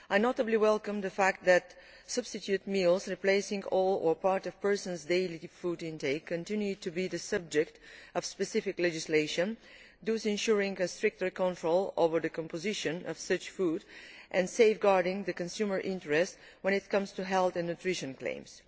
I especially welcome the fact that substitute meals replacing all or part of a person's daily food intake continue to be the subject of specific legislation, thus ensuring stricter control over the composition of such food and safeguarding the consumer interest when it comes to health and nutrition claims.